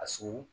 A suru